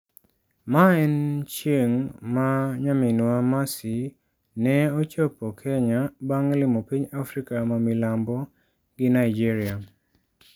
Mae en chieng' ma nayminwa Mercy ne ochopo Kenya bang' limo piny Afrika ma milambo gi Nigeria.